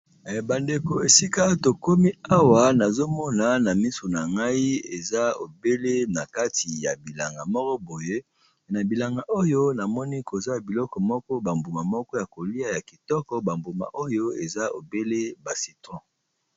bandeko esika tokomi awa nazomona na misu na ngai eza ebele na kati ya bilanga moko boye e na bilanga oyo namoni koza biloko moko bambuma moko ya kolia ya kitoko bambuma oyo eza ebele ba citron